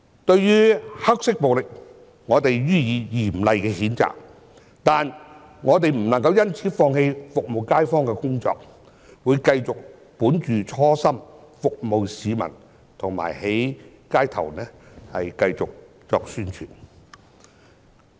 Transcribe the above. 對於黑色暴力，我們予以嚴厲的譴責，但我們不能因此放棄服務街坊的工作，會繼續本着初心服務市民和在街頭繼續宣傳。